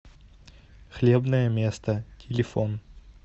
хлебное место телефон